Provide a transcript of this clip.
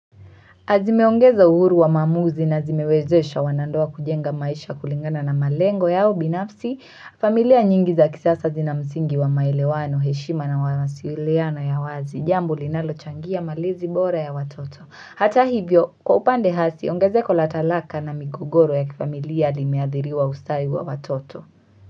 Na zimeongeza uhuru wa maamuzi na zimewezesha wanandoa kujenga maisha kulingana na malengo yao binafsi, familia nyingi za kisasa zina msingi wa maelewano, heshima na mawasiliano ya wazi, jambo linalochangia malezi bora ya watoto. Hata hivyo, kwa upande hasi, ongezeko la talaka na migogoro ya kifamilia limeadhiriwa usatahi wa watoto.